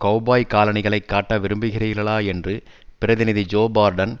cowboy காலணிகளைக் காட்ட விரும்புகிறீர்களா என்று பிரதிநிதி ஜோ பார்டன்